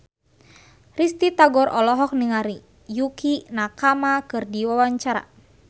Risty Tagor olohok ningali Yukie Nakama keur diwawancara